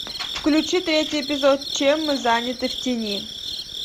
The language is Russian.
включи третий эпизод чем мы заняты в тени